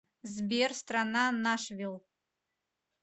сбер страна нашвилл